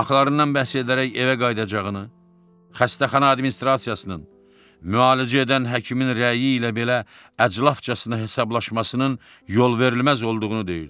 haqlarından bəhs edərək evə qayıdacağını, xəstəxana administrasiyasının müalicə edən həkimin rəyi ilə belə əclafcasına hesablaşmasının yolverilməz olduğunu deyirdi.